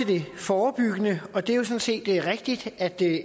det forebyggende og det er jo sådan set rigtigt at det